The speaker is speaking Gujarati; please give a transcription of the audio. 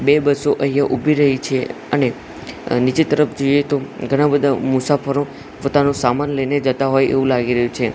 બે બસો અહીંયા ઊભી રહી છે અને નીચે તરફ જોઈએ તો ઘણા બધા મુસાફરો પોતાનું સામાન લઈને જતા હોય એવુ લાગી રહ્યુ છે.